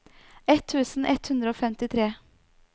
ett tusen ett hundre og femtitre